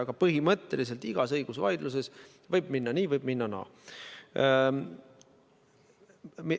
Aga põhimõtteliselt võib igas õigusvaidluses minna nii ja võib minna naa.